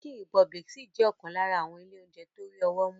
Chicken Republic ṣì jẹ́ ọ̀kan lára àwọn ilé oúnjẹ tó rí ọwọ́ mú.